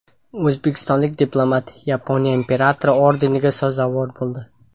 O‘zbekistonlik diplomat Yaponiya Imperatori ordeniga sazovor bo‘ldi.